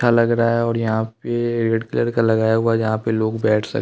लग रहा है और यहाँ पे ए रेड कलर का लगाया हुआ है जहाँ पे लोग बैठ--